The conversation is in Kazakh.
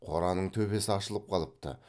қораның төбесі ашылып қалыпты